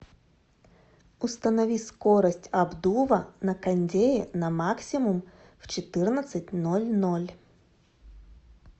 установи скорость обдува на кондее на максимум в четырнадцать ноль ноль